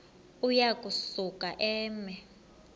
uya kusuka eme